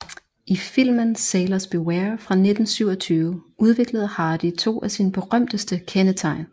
I filmen Sailors Beware fra 1927 udviklede Hardy to af sine berømteste kendetegn